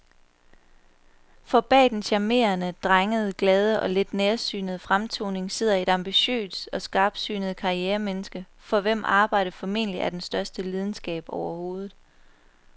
For bag den charmerende, drengede, glade og lidt nærsynede fremtoning sidder et ambitiøst og skarpsynet karrieremenneske, for hvem arbejdet formentlig er den største lidenskab overhovedet.